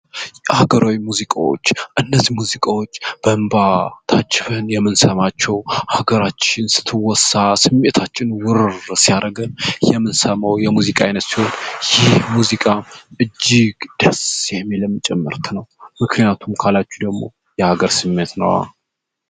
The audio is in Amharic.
ሀገራዊ ሙዚቃዎች እነዚህ ሙዚቃዎች በእንባ ታጅበን የምንሰማቸው ሀገራችን ስትወሳስ ስሜታችንን ወረር ሲያደርገን የምንሰማው የሙዚቃ አይነት ሲሆን ይህ ሙዚቃ እጅግ ደስ የሚልም ጭምር ነው ምክንያቱም ካላችሁ ደግሞ የሀገር ስሜት ነዋ!